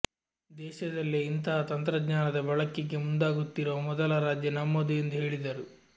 ದೇಶದಲ್ಲೇ ಇಂತಹ ತಂತ್ರಜ್ಞಾನದ ಬಳಕೆಗೆ ಮುಂದಾಗುತ್ತಿರುವ ಮೊದಲ ರಾಜ್ಯ ನಮ್ಮದು ಎಂದು ಹೇಳಿದರು